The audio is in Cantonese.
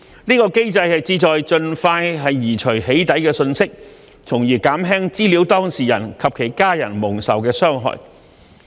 這個機制旨在盡快移除"起底"信息，從而減輕資料當事人及其家人蒙受的傷害。